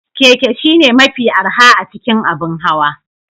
Keke shine mafi arha a cikin abin hawa